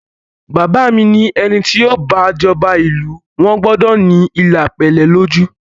Bàbá mi ni ẹni ti yóò bá jọba ìlú wa gbọ́dọ̀ ní ilà pélé lójú